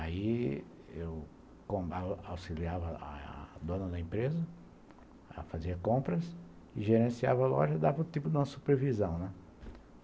Aí eu auxiliava a a dona da empresa, ela fazia compras, gerenciava a loja e dava o tipo de supervisão, né.